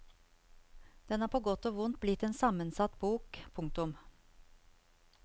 Den er på godt og vondt blitt en sammensatt bok. punktum